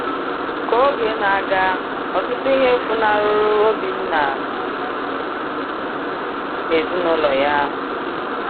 Ka oge na - aga, ọtụtụ ihe funahụrụ Obinna na ezinụlọ ya.